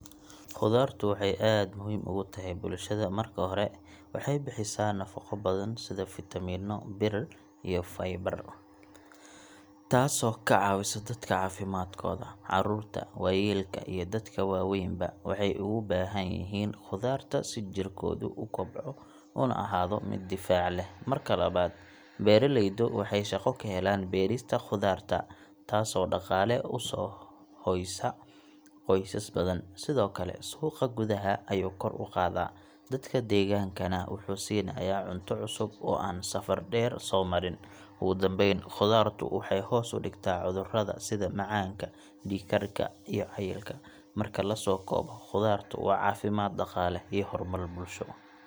Khudaartu waxay aad muhiim ugu tahay bulshada. Marka hore, waxay bixisaa nafaqo badan sida fitamiinno, bir, iyo fiber, taasoo ka caawisa dadka caafimaadkooda. Caruurta, waayeelka, iyo dadka waaweynba waxay uga baahan yihiin khudaarta si jirkoodu u kobco una ahaado mid difaac leh. Marka labaad, beeraleydu waxay shaqo ka helaan beerista khudaarta, taasoo dhaqaale u soo hoysa qoysas badan. Sidoo kale, suuqa gudaha ayuu kor u qaadaa, dadka deegaankana wuxuu siinayaa cunto cusub oo aan safar dheer soo marin. Ugu dambayn, khudaartu waxay hoos u dhigtaa cudurrada sida macaanka, dhiig-karka, iyo cayilka. Marka la soo koobo, khudaartu waa caafimaad, dhaqaale, iyo horumar bulsho.